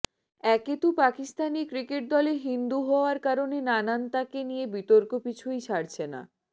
একে তো পাকিস্তানী ক্রিকেট দলে হিন্দু হওয়ার কারণে নানান তাঁকে নিয়ে বিতর্ক পিছুই ছাড়ছে না